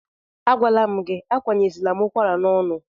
Agwala m gị, akwanyezila m ụkwara n'ọnụ!